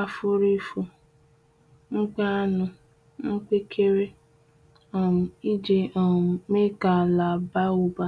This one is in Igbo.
afurifu, mpi anụ, mkpekere um iji um mee ka ala baa ụba.